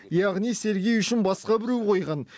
яғни сергей үшін басқа біреу қойған